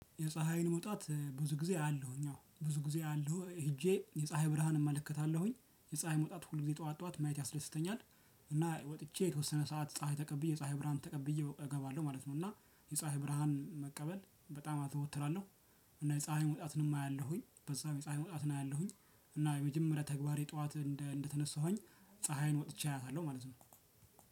የፀሀይን መውጣት ብዙ ጊዜ አያለሁ አዎ። ብዙ ጊዜ አያለሁ ሄጄ የፀሀይ ብርሃን እመለከታለሁኝ፤ የፀሀይ መውጣት ሁሌ ጠዋት ጠዋት ማየት ያስደስተኛል። እና ወጥቼ የተወሰነ ሰዓት ፀሀይ ተቀብዬ የፀሀይ ብርሃን ተቀብዬ እገባለሁ ማለት ነው። እና ፀሀይ የፀሀይ ብርሃን መቀበል በጣም አዘወትራለሁ። እና የፀሀይ መውጣትንም አያለሁኝ፤ በዛው የፀሀይ መውጣትን አያለሁኝ። እና የመጀመሪያ ተግባሬ ጠዋት እንደተነሳሁኝ ፀሀይን ወጥቼ አያልታለሁ ማለት ነው።